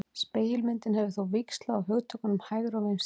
Spegilmyndin hefur þó víxlað á hugtökunum hægri og vinstri.